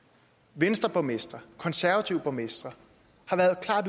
venstreborgmestre konservative borgmestre har været